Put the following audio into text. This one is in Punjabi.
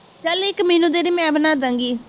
ਚੱਲ ਇੱਕ ਮੈਨੂੰ ਦੇਂਦੀ ਮੈਂ ਬਣਾ ਦਾਂਗੀ